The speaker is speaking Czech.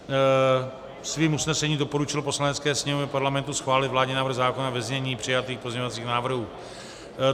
Svým usnesením doporučil Poslanecké sněmovně Parlamentu schválit vládní návrh zákona ve znění přijatých pozměňovacích návrhů.